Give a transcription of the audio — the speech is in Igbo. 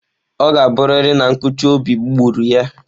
Ọ ga-abụrịrị na nkụchi obi gburu ya.